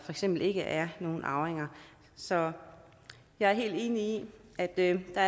eksempel ikke er nogle andre arvinger så jeg er helt enig i at der er